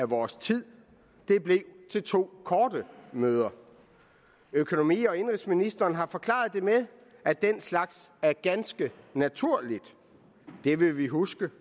vores tid det blev til to korte møder økonomi og indenrigsministeren har forklaret det med at den slags er ganske naturligt det vil vi huske